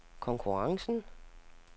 konkurrencen